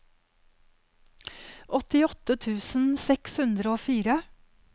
åttiåtte tusen seks hundre og fire